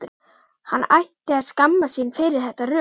Hann ætti að skammast sín fyrir þetta rugl!